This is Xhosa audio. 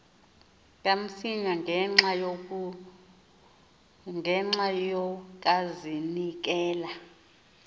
kamsinya ngenxa yokazinikela